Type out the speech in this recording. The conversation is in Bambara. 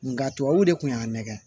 Nga tubabuw de kun y'a nɛgɛn